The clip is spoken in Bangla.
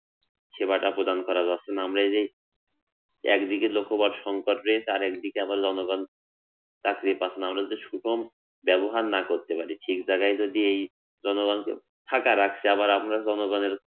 সেবাটা প্রদান করা যাচ্ছেনা, আমরা এই যে একদিকে লোকবল সংকট রে তার একদিকে আবার জনগণ চাকরি পাচ্ছেনা, না হলে যে সুগম ব্যবহার না করতে পারি ঠিক জায়গায় যদি এই জনগণকে ফাঁকা রাখছে আবার আমরা জনগণের